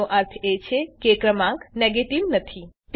એનો અર્થ એ છે કે ક્રમાંક નેગેટીવ નથી